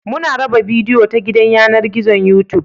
Muna raba bidiyo ta gidan yanar gizon Youtube